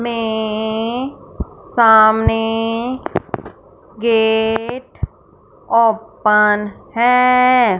में सामने gate open है।